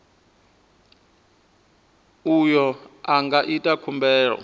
uyo a nga ita khumbelo